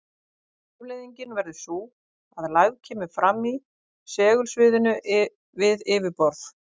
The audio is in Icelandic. Afleiðingin verður sú að lægð kemur fram í segulsviðinu við yfirborð.